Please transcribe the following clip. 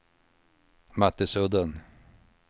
Mattisudden